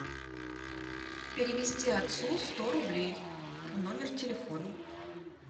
перевести отцу сто рублей на номер телефона